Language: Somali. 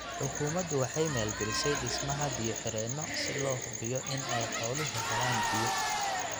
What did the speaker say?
Xukuumadu waxa ay maal galisay dhismaha biyo xidheeno si loo hubiyo in ay xooluhu helaan biyo.